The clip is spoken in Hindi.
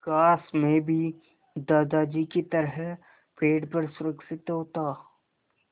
काश मैं भी दादाजी की तरह पेड़ पर सुरक्षित होता